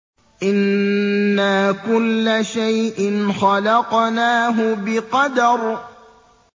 إِنَّا كُلَّ شَيْءٍ خَلَقْنَاهُ بِقَدَرٍ